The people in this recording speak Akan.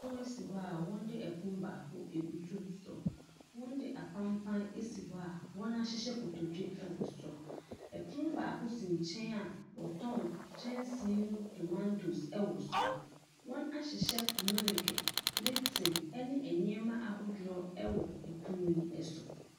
Pono si hɔ a wɔde pono baako abutu so. Wɔde apampaa asi hɔ a wɔahyehyɛ kotodwe wɔ so. Pono baako si nkyɛn a wɔtɔn kyɛnsee mu tomantoes wɔ so. Wɔahyehyɛ meleke, lipton ne nneɛma ahodoɔ wɔ pono yi so.